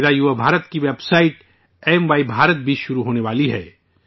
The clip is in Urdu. میرا یوا بھارت کی website 'M Y Bharat' بھی شروع ہونے والی ہے